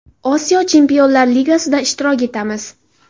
Osiyo Chempionlar Ligasida ishtirok etamiz.